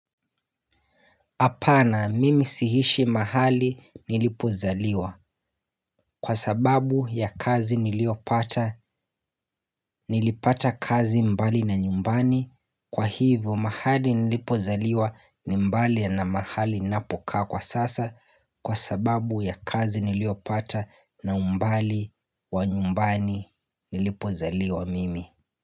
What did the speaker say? Hapana mimi sihishi mahali nilipozaliwa kwa sababu ya kazi niliopata nilipata kazi mbali na nyumbani kwa hivyo mahali nilipozaliwa ni mbali na mahali ninapokaa kwa sasa kwa sababu ya kazi niliopata na umbali wa nyumbani nilipozaliwa mimi.